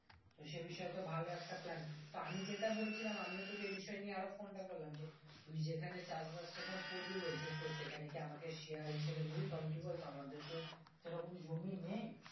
তো সে বিষয়টা ভালো একটা প্ল্যান তো আমি যেটা বলছিলাম আমিও তোকে এই বিষয় নিয়ে phone টা করলাম যে তুই যেই খানে চাষবাস টা ধর করবি বলছিস তো সেখানে কি আমাকে share হিসাবে নিবি কারণ কি বলতো আমাদের তো সেরকম জমি নেই